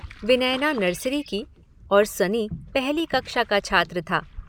विनयना nursery की और सनी पहली कक्षा का छात्र था।